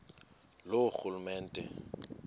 loorhulumente